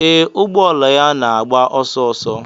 Ee, ụgbọ ala ya na-agba ọsọ ọsọ.